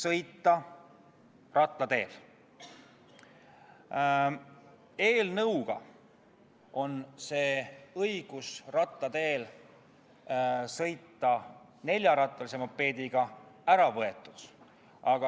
Ent selle eelnõu järgi on õigus jalgrattateel sõita ära võetud üksnes neljarattalise mopeedi juhtidelt.